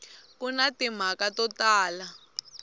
ku na timhaka to tala